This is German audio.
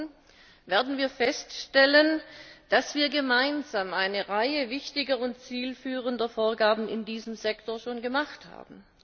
Morgen werden wir feststellen, dass wir gemeinsam schon eine Reihe wichtiger und zielführender Vorgaben in diesem Sektor gemacht haben.